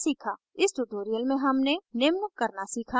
इस tutorial में हमने निम्न करना सीखा